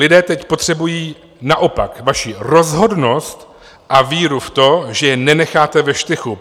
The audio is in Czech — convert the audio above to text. Lidé teď potřebují naopak vaši rozhodnost a víru v to, že je nenecháte ve štychu.